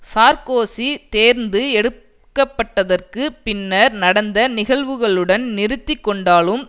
Sarkozy தேர்ந்து எடுக்கப்பட்டதற்கு பின்னர் நடந்த நிகழ்வுகளுடன் நிறுத்தி கொண்டாலும்